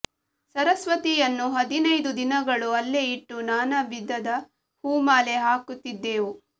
ಸರಸ್ವತಿಯನ್ನು ಹದಿನೈದು ದಿನಗಳು ಅಲ್ಲೇ ಇಟ್ಟು ನಾನಾ ವಿಧದ ಹೂಮಾಲೆ ಹಾಕುತ್ತಿದ್ದೆವು